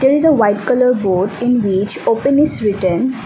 there is a white colour board in beach open is written.